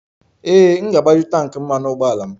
Ee, m ga-agbaju tanki mmanụ ụgbọala m.